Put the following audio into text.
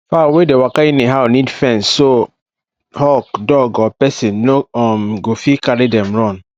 fowl wey dey waka anyhow need fence so hawk dog or person no um go fit carry dem run